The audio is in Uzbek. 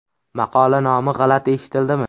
Maqola nomi g‘alati eshitildimi?